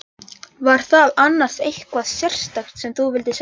Var það annars eitthvað sérstakt sem þú vildir segja?